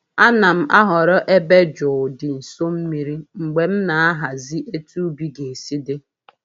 A na'm-ahọrọ ebe jụụ di nso mmiri mgbe m na-ahazi etu ubi ga-esi dị.